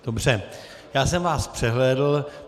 Dobře, já jsem vás přehlédl.